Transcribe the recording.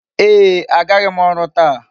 Ee, agaghị m ọrụ taa.